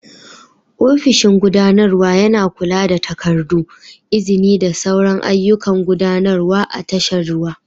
Ofishin gudanarwa yana kula da takardu, izini da sauran ayyukan gudanarwa a tashar ruwa.